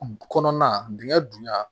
Kɔnɔna dingɛn dun ya